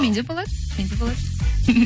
менде болады менде болады